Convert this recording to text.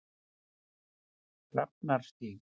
Drafnarstíg